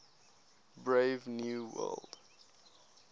brave new world